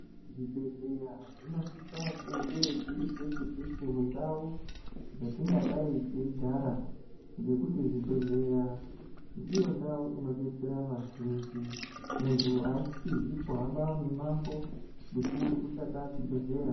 Zvibhedhleya zvinosisa kunge zviri peshe peshe mundau yatingadai teigara ngekuti zvibhedhleya ndiyo ndau inodetsera vazhinji , muntu aasizi kuhamba mimako mikuru kutsvaka chibhedhleya